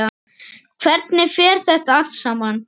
Hvernig fer þetta allt saman?